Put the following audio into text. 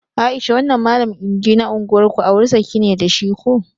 Aisha wannan mallam iIdi na unguwar ku auri saki ne da shi ko?